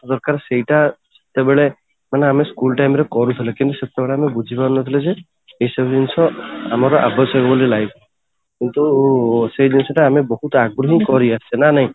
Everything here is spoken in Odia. ଦରକାର ସେଇଟା ସେଭଳି ମାନେ, ମାନେ ଆମେ school time ରେ କରୁଥିଲେ କିନ୍ତୁ ସେତେବେଳେ ଆମେ ବୁଝିପାରୁନଥିଲେ ଯେ ଏଇ ସବୁ ଜିନିଷ ଆମର ଆବଶ୍ୟକ ବୋଲି life ରେ କିନ୍ତୁ ସେ ଜିନିଷ ଟା ଆମେ ବହୁତ ଆଗରୁ ହିଁ କରିଆସୁଥିଲେ